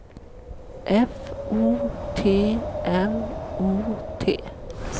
F O T N O T